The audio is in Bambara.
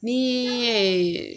Ni